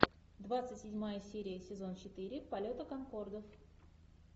двадцать седьмая серия сезон четыре полета конкордов